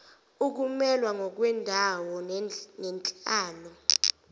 ukumelwa ngokwendawo nenhlalo